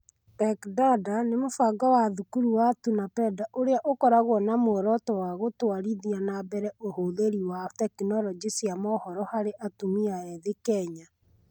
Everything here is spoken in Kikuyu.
Tech Dada nĩ mũbango wa Thukuru wa Tunapanda ũrĩa ũkoragwo na muoroto wa gũtwarithia na mbere ũhũthĩri wa tekinoronjĩ cia mohoro harĩ atumia ethĩ Kenya.